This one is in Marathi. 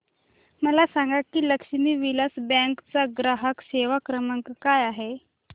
मला सांगा की लक्ष्मी विलास बँक चा ग्राहक सेवा क्रमांक काय आहे